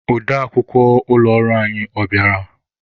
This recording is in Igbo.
Ode akwukwọ ụlọ ọrụ anyị, ọ bịara?